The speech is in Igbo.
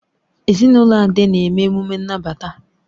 Ezinụlọ Ade na-eme omenala nnabata.